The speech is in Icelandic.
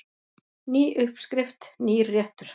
Ný uppskrift, nýr réttur.